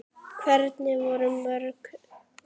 Hvernig voru mörkin?